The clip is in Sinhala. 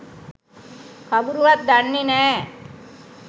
කවුරුවත් දන්නෙ නෑ.